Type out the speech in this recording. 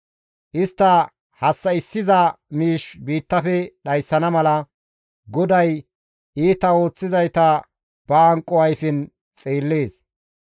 Istta hassa7issiza miish biittafe dhayssana mala, GODAY iita ooththizayta ba hanqo ayfen xeellees.